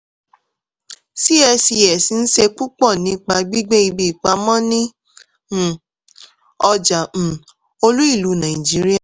cscs ń ṣe púpọ̀ nípa gbígbé ibi ìpamọ́ ní um ọjà um olú-ìlú nàìjíríà.